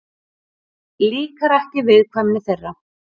Líkar ekki viðkvæmni þeirra.